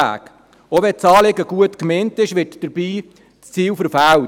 Auch wenn das Anliegen gut gemeint ist, wird dabei das Ziel verfehlt.